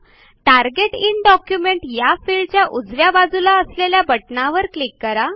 target in document या फिल्डच्या उजव्या बाजूला असलेल्या बटणावर क्लिक करा